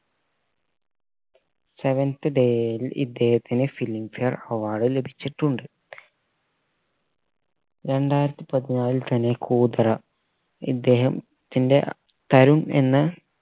seventh day യിൽ ഇദ്ദേഹത്തിന് filmfare award ലഭിച്ചിട്ടുണ്ട് രണ്ടായിരത്തി പതിനാലിൽ തന്നെ കൂതറ ഇദ്ദേഹത്തിന്റെ തരുൺ എന്ന